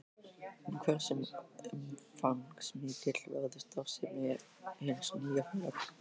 En hversu umfangsmikil verður starfssemi hins nýja félags?